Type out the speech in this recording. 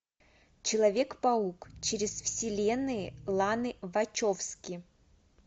человек паук через вселенные ланы вачовски